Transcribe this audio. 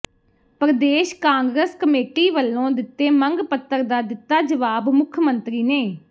Pradesh Congress committee ਵੱਲੋਂ ਦਿੱਤੇ ਮੰਗ ਪੱਤਰ ਦਾ ਦਿੱਤਾ ਜਵਾਬ ਮੁੱਖ ਮੰਤਰੀ ਨੇ